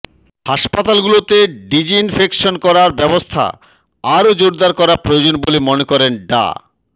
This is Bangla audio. হাসপাতালগুলোতে ডিজইনফেকশন করার ব্যবস্থা আরও জোরদার করা প্রয়োজন বলে মনে করেন ডা